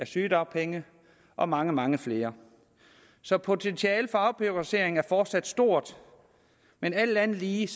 sygedagpenge og mange mange flere så potentialet for afbureaukratisering er fortsat stort men alt andet lige